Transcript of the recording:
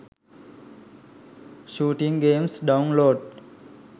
shooting games download